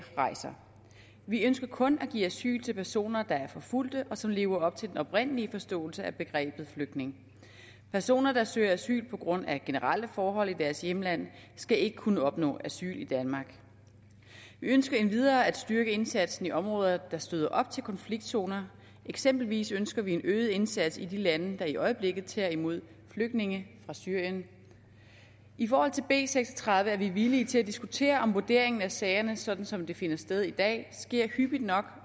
rejser vi ønsker kun at give asyl til personer der er forfulgt og som lever op til den oprindelige forståelse af begrebet flygtning personer der søger asyl på grund af generelle forhold i deres hjemland skal ikke kunne opnå asyl i danmark vi ønsker endvidere at styrke indsatsen i områder der støder op til konfliktzoner eksempelvis ønsker vi en øget indsats i de lande der i øjeblikket tager imod flygtninge fra syrien i forhold til b seks og tredive er vi villige til at diskutere om vurderingen af sagerne sådan som det finder sted i dag sker hyppigt nok